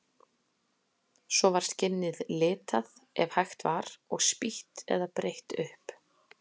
Svo var skinnið litað, ef hægt var, og spýtt eða breitt upp.